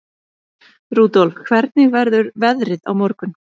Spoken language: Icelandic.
Rudolf, hvernig verður veðrið á morgun?